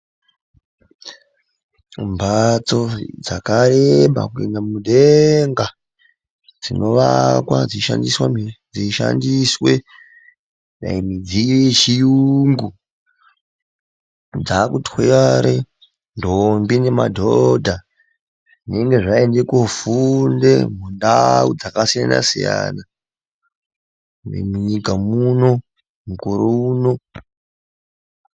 Mbatso dzakareba kuende mudenga, dzinoakwa dzeishandiswe dai mudziyo yechiyungu. Dzakutwara ndombi nemadhodha dzinenge dzaende kofunda mundawu dzakasiyana siyana munyika muno, mukore uno.